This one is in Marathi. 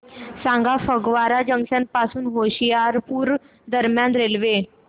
सांगा फगवारा जंक्शन पासून होशियारपुर दरम्यान रेल्वे